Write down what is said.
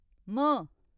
म